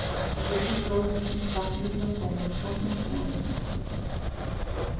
живут в разных местах не знакомы никак не связаны